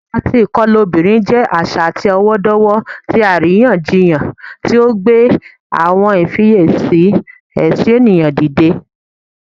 Iwa ti ikọla obinrin jẹ aṣa atọwọdọwọ ti ariyanjiyan ti o gbe awọn ifiyesi ẹtọ eniyan dide